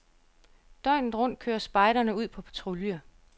Døgnet rundt kører spejderne ud på patrulje.